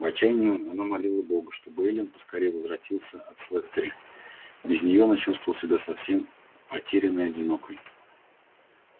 в отчаянии она молила бога чтобы эллин поскорее возвратился от слэттери без неё она чувствовала себя совсем потерянной и одинокой